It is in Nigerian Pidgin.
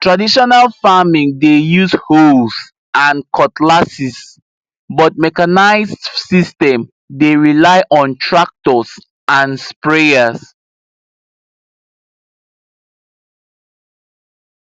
traditional farming dey use hoes and cutlasses but mechanised system dey rely on tractors and sprayers